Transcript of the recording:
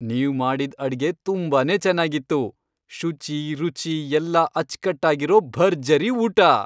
ನೀವ್ ಮಾಡಿದ್ ಅಡ್ಗೆ ತುಂಬಾನೇ ಚೆನ್ನಾಗಿತ್ತು. ಶುಚಿ, ರುಚಿ ಎಲ್ಲ ಅಚ್ಕಟ್ಟಾಗಿರೋ ಭರ್ಜರಿ ಊಟ!